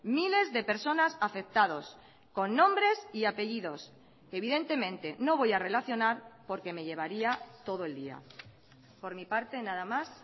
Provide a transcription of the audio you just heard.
miles de personas afectados con nombres y apellidos que evidentemente no voy a relacionar porque me llevaría todo el día por mi parte nada más